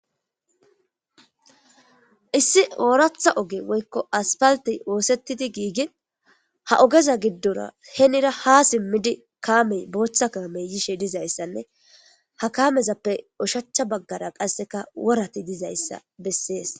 issi ooratha oge woykko aspalti woosettidi giigin ha ogeza giddora henira ha simmidi kaamey booththa kaamey yishe dizayssanne ha kamezappe ushachcha baggara qasseka worati dizayssa bessees